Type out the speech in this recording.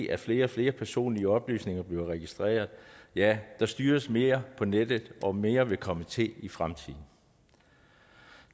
at flere og flere personlige oplysninger bliver registreret ja der styres mere på nettet og mere vil komme til i fremtiden